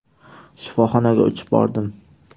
Shifoxonaga uchib bordim.